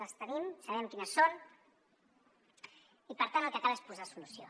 les tenim sabem quines són i per tant el que cal és posar hi solució